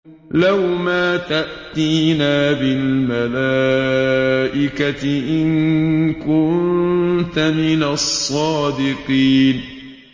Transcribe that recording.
لَّوْ مَا تَأْتِينَا بِالْمَلَائِكَةِ إِن كُنتَ مِنَ الصَّادِقِينَ